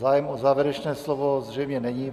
Zájem o závěrečné slovo zřejmě není.